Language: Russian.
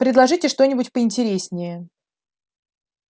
предложите что-нибудь поинтереснее